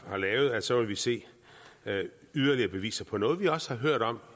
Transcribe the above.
har lavet så vil se yderligere beviser på noget vi også har hørt om